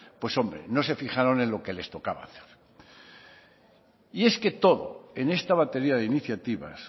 pues hombre no se fijaron en lo que les tocada hacer y es que todo en esta batería de iniciativas